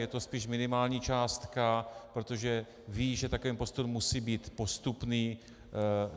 Je to spíš minimální částka, protože vím, že takový postup musí být postupný.